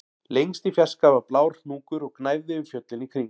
Lengst í fjarska var blár hnúkur og gnæfði yfir fjöllin í kring